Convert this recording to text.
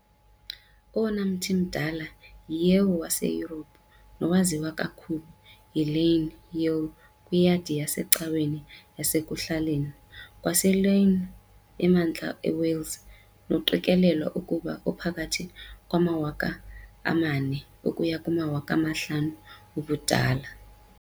Owona mthi mdala iYew waseYurophu nowaziwa kakhulu yiLlangernyw Yew kwiyadi yasecaweni yasekuhlaleni kwaseLlangernyw eMantla eWales noqikelelwa ukuba uphakathi kwama-4,000 ukuya kuma-5,000 ubudala.